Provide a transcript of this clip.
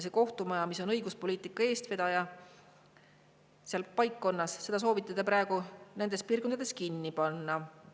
Kohtumajad, mis on õiguspoliitika eestvedajad paikkonnas, soovitakse seal praegu kinni panna.